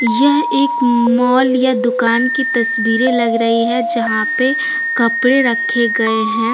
यह एक मॉल या दुकान की तस्वीरें लग रही है यहां पे कपड़े रखे गए हैं।